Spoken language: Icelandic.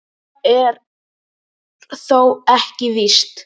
Það er þó ekki víst.